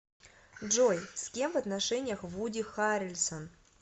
джой с кем в отношениях вуди харрельсон